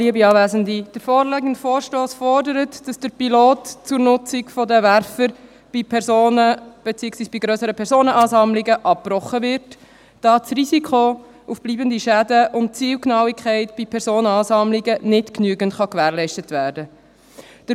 Der vorliegende Vorstoss fordert, dass das Pilotprojekt zur Nutzung der Werfer bei Personen, beziehungsweise bei grösseren Personenansammlungen, abgebrochen wird, da das Risiko für bleibende Schäden zu hoch ist und die Zielgenauigkeit bei Personenansammlungen nicht genügend gewährleistet werden kann.